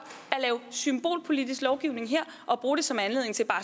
at lave symbolpolitisk lovgivning her og bruge det som anledning til bare